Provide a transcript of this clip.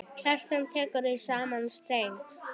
Kjartan tekur í sama streng.